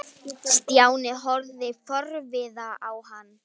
Stjáni horfði forviða á hann.